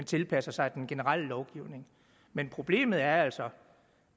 tilpasser sig den generelle lovgivning men problemet er altså